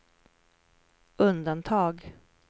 undantag